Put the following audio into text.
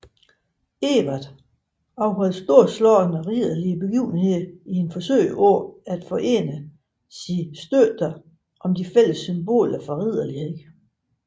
Edvard afholdt storslåede ridderlige begivenheder i et forsøg på at forene sine støtter om de fælles symboler for ridderlighed